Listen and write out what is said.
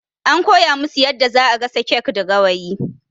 An kowa musu yadda zaa gasa kek da Gawayi